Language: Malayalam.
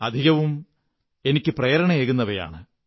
അധികവും എനിക്കു പ്രേരണയേകുന്നവയാണ്